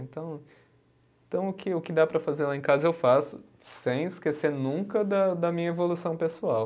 Então, então o que o que dá para fazer lá em casa eu faço, sem esquecer nunca da da minha evolução pessoal.